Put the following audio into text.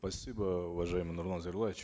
спасибо уважаемый нурлан зайроллаевич